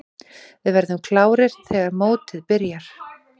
Við verðum klárir þegar mótið byrjar.